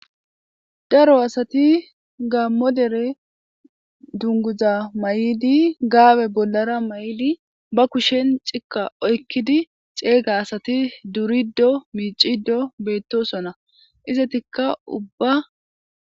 daro assati gammo dere dunguza may'idi gaabe bollara may'idi ba kushen cikka oykkidi ceegga assati duriddo miiciddo beettosoona izatikka ubba